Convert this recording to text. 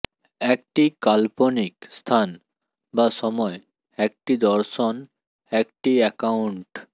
একটি কাল্পনিক স্থান বা সময় একটি দর্শন একটি অ্যাকাউন্ট